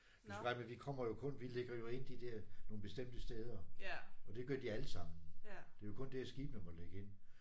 Du skal regne med vi kommer jo kun vi lægger jo kun ind de der nogle bestemte steder og de gør de alle sammen. Det er jo kun der skibene må lægge ind